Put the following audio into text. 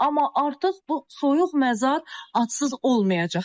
Amma artıq bu soyuq məzar adsız olmayacaq.